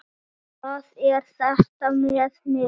Hvað er þetta með mig?